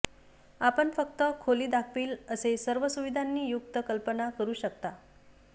आपण फक्त खोली दाखवील कसे सर्व सुविधांनी युक्त कल्पना करू शकता